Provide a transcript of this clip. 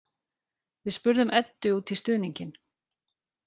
Við spurðum Eddu út í stuðninginn.